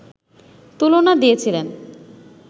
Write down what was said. তুলনা দিয়েছিলেন